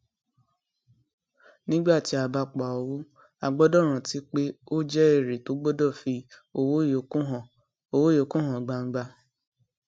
nígbà tí a bá pa owó a gbọdọ rántí pé ó jẹ èrè tó gbọdọ fi owó yókù hàn owó yókù hàn gbangba